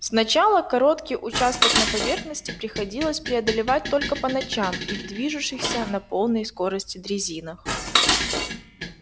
сначала короткий участок на поверхности приходилось преодолевать только по ночам и в движущихся на полной скорости дрезинах